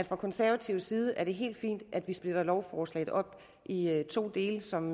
fra konservativ side er helt fint at vi splitter lovforslaget op i to dele som